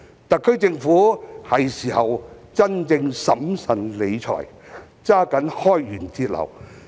特區政府是時候真正審慎理財，抓緊開源節流。